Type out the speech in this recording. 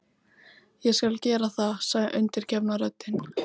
Ég skal gera það, sagði undirgefna röddin.